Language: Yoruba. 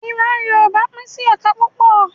Ìran Yorùbá pín sí ẹ̀ka púpọ̀